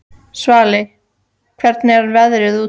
Svali, hvernig er veðrið úti?